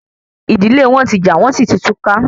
Ìdílé wọn tí jà wọn sì tí túká